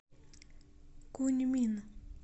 куньмин